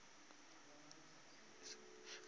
ke mang ge e se